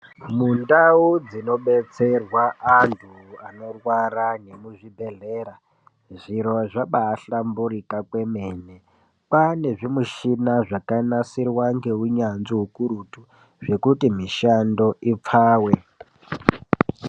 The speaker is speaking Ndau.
Mundau dzinobetserwa antu anorwara nemuzvibhedhlera zviro zvabahlamburika kwemene. Kwane zvimichina zvakanasirwa ngeunyanzvi hukurutu, zvekuti mishando ipfave.